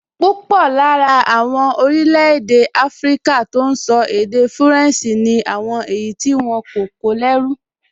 Púpọ̀ lára àwọn orílẹ̀-èdè áfríkà tó n sọ èdè fúrẹ̀nsì ni àwọn èyí tí wọ́n kó lẹ́rú